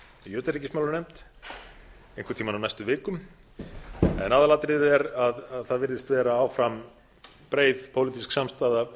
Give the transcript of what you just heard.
í utanríkismálanefnd einhvern tímann á næstu vikum en aðalatriðið er að það virðist áfram vera breið pólitísk samstaða